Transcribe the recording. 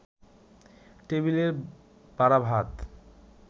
টেবিলের বাড়া ভাত